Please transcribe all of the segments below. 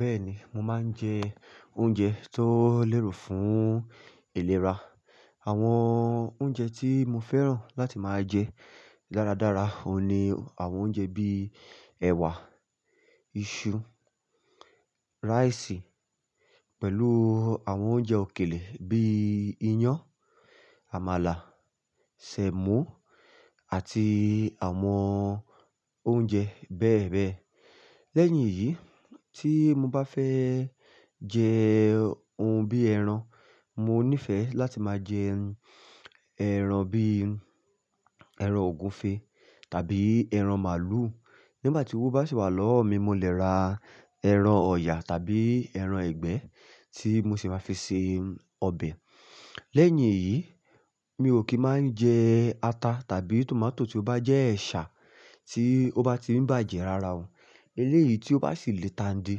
Bẹ́ẹ̀ni, mo máa ń jẹ oúnjẹ tó lérò fún ìlera. Àwọn oúnjẹ tí mo fẹ́ràn láti máa jẹ dáradára òun ni àwọn oúnjẹ bíi ẹ̀wà, iṣu, rice pẹ̀lú àwọn oúnjẹ òkèlè bíi iyán, àmàlà, sẹ̀mọ́ àti àwọn oúnjẹ bẹ́ẹ̀ bẹ́ẹ̀. Lẹ́yìn èyí, tí mo bá fẹ́ jẹ oun bíi ẹran, mo nífẹ̀ẹ́ láti máa jẹ ẹran bíi ẹran ògúnfe tàbí ẹran màlúù. Nígbà tí owó bá sì wà lọ́wọ́ mi, mo lè ra ẹran ọ̀yà tàbí ẹran ìgbẹ́ tí mo sì máa fi se ọbẹ̀. Lẹ́yìn èyí, mi ò kì í máa ń jẹ ata tàbí tòmátò tí ó bá jẹ́ ẹ̀ṣà tí ó bá ti ń bàjẹ́ rara òun. Eléyìí tí ó bá sì le tandí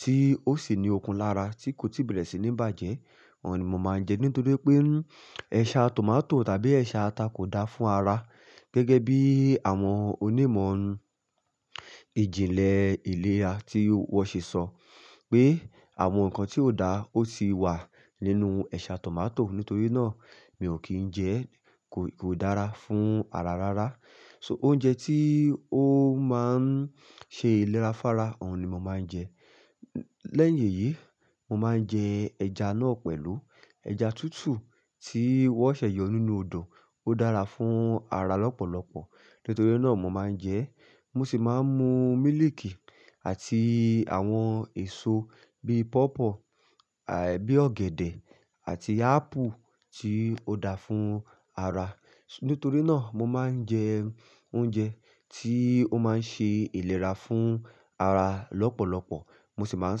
tí ó sì ni okun lára tí kò tí bàjẹ́, òun ni mo máa ń jẹ nítorí pé ẹ̀ṣà tòmátò tàbí ẹ̀ṣà ata kò dáa fún ara. Gẹ́gẹ́ bí àwọn onímọ̀ ìjìnlẹ̀ ilẹ̀ra tí wọ́n ṣe sọ pé àwọn nǹkan tí kò dáa ó ti wà nínú ẹ̀ṣà tòmátò, nítorí náà mi ò kín ń jẹ ẹ́. Kò, kò dára fún ara rárá. So oúnjẹ tí ó máa ń ṣe ìlera fára, òun ni mo máa ń jẹ. Lẹ́yìn èyí, mo máa ń jẹ ẹja náà pẹ̀lú ẹja tútù tí wọ́n ṣẹ̀yọ nínú odò. Ó dára fún ara lọ́pọ̀lọpọ̀. Nítorí náà mo máa ń jẹ ẹ́. Mo sì máa ń mu mílìkì àti àwọn èso bí i pawpaw, àbí ọ̀gẹ̀dẹ̀ àti ápù tí ó dáa fún ara. Nítorí náà mo máa ń jẹ oúnjẹ tí ó máa ń ṣe ìlera fún ara lọ́pọ̀lọpọ̀. Mo sì máa ń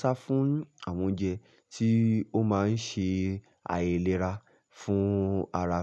sá fún àwọn oúnjẹ tí ó máa ń ṣe àìlera fún ara.